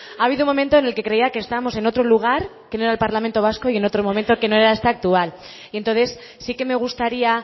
ha habido un momento en el que creía que estábamos en otro lugar que no era el parlamento vasco y en otro momento que no era este actual y entonces sí que me gustaría